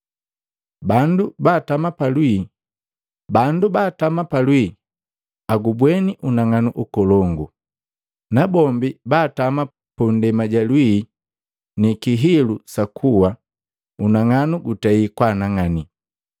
Bandu baatama pa lwii agubweni unang'anu nkolongu. Nabombi baatama mundema ja lwii ni kihilu sa kuwa, unang'anu gutei kwaanang'ani!”